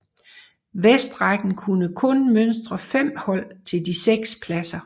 Vestrækken kunne kun mønstre 5 hold til de 6 pladser